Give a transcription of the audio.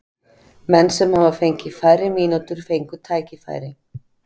Menn sem hafa fengið færri mínútur fengu tækifæri.